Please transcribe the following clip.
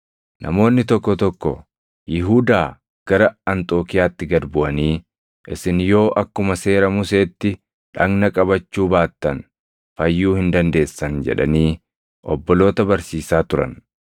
Namoonni tokko tokko Yihuudaa gara Anxookiiyaatti gad buʼanii, “Isin yoo akkuma seera Museetti dhagna qabachuu baattan fayyuu hin dandeessan” jedhanii obboloota barsiisaa turan.